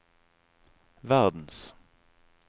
verdens